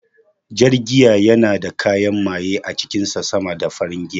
Jar giya yana da kayan maye a cikin sa sama da farin giya